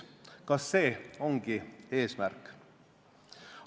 Kas see ongi eesmärk?